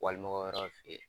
Wali mɔgɔ wɛrɛw fe yen